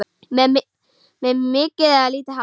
Með mikið eða lítið hár?